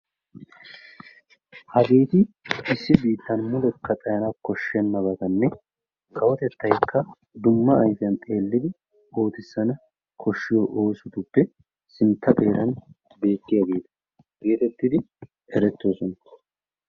Hageeti issi biittan mulekka xayana koshshennabatanne kawotettaykka dumma ayfiyaani xeellidi oottissanawu koshshiyo oosotuppe sintta xeera beettiyageeta geetettidi erettoosona.